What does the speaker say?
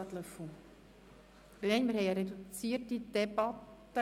Löffel, wir führen eine reduzierte Debatte.